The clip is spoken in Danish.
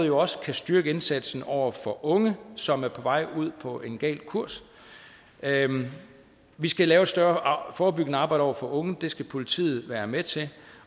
jo også styrke indsatsen over for unge som er på vej ud på en gal kurs vi skal lave et større forebyggende arbejde over for unge og det skal politiet være med til